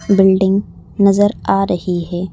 Building नजर आ रही है।